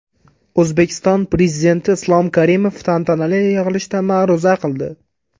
O‘zbekiston Prezidenti Islom Karimov tantanali yig‘ilishda ma’ruza qildi.